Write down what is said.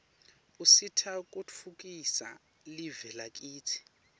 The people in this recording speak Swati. usita kutfutfukisa live lakitsi